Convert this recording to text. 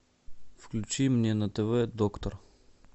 включи мне на тв доктор